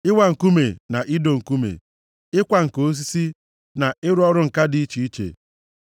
ịwa nkume na ido nkume, ịkwa ǹka osisi, na ịrụ ọrụ ǹka dị iche iche.